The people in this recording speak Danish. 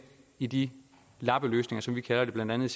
i de lappeløsninger som vi kalder det blandt andet